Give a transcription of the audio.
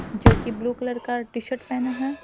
जो कि blue colour का टी-शर्ट पहना है।